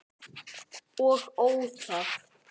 Og óþarft!